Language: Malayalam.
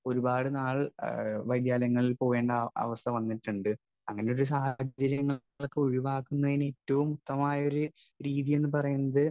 സ്പീക്കർ 1 ഒരുപാടുനാൾ വൈദ്യാലയങ്ങളിൽ പോകേണ്ട അവസ്ഥ വന്നിട്ടുണ്ട്. അങ്ങനെയുള്ള സാഹചര്യങ്ങളൊക്കെ ഒഴിവാക്കുന്നതിന് ഏറ്റവും യുക്തമായ ഒരു രീതി എന്നു പറയുന്നത്